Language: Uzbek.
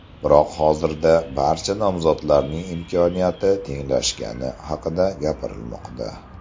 Biroq hozirda barcha nomzodlarning imkoniyati tenglashgani haqida gapirilmoqda.